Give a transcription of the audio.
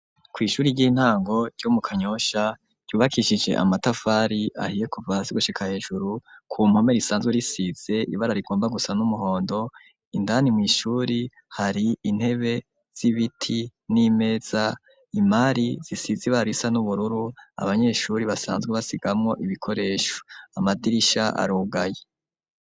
Kw'ishuri ry'intango ryo mu kanyosha ryubakishije amatafari ahiye kuva hasi gushika hejuru ,ku mpome risanzwe risize ibara rigomba gusa n'umuhondo, indani mw'ishuri hari intebe z'ibiti, n'imeza ,imari zisize ibara risa n'ubururu ,abanyeshuri basanzwe basigamwo ibikoresho, amadirisha arugaye.